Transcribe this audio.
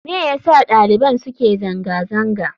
Me yasa daliban suke zanga-zangar?